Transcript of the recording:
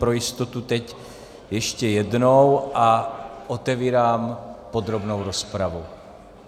Pro jistotu teď ještě jednou a otevírám podrobnou rozpravu.